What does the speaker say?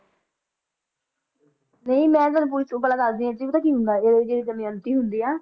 ਨਹੀਂ ਮੈਂ ਤੁਹਨੂੰ ਪੁਚ~ ਪਹਿਲਾ ਦੱਸਦੀ ਆ ਅੱਗੇ ਪਤਾ ਕੀ ਹੁੰਦਾ ਇਹਦੇ ਵਿੱਚ ਜਿਹੜੀ ਦਮਿਅੰਤੀ ਹੁੰਦੀ ਆ